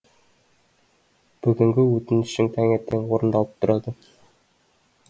бүгінгі өтінішің таңертең орындалып тұрады